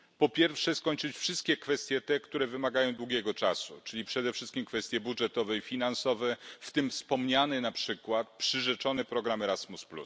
Po pierwsze, skończyć wszystkie kwestie te, które wymagają długiego czasu, czyli przede wszystkim kwestie budżetowe i finansowe, w tym wspomniany na przykład przyrzeczony program Erasmus.